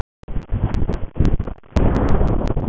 Mættu Íslendingar vel læra af dæmum erlendra þjóða.